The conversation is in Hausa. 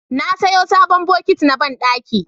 na saya sabon bokiti na banɗaki